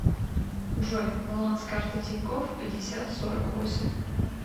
джой баланс карты тинькофф пятьдесят сорок восемь